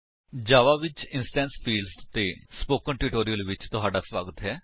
ਜਾਵਾ ਵਿੱਚ instance fields ਉੱਤੇ spoken tutorial ਵਿੱਚ ਤੁਹਾਡਾ ਸਵਾਗਤ ਹੈ